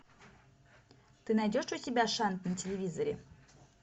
ты найдешь у себя шант на телевизоре